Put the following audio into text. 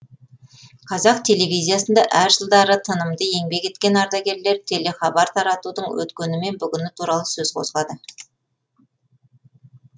қазақ телевизиясында әр жылдары тынымды еңбек еткен ардагерлер телехабар таратудың өткені мен бүгіні туралы сөз қозғады